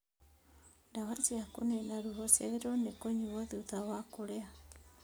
Ndawa cia kũnina ruo ciagĩrĩirwo nĩ kũnyuo thutha wa kũrĩa